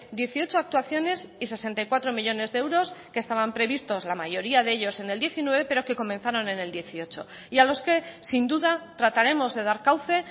dieciocho actuaciones y sesenta y cuatro millónes de euros que estaban previstos la mayoría de ellos en el diecinueve pero que comenzaron en el dieciocho y a los que sin duda trataremos de dar cauce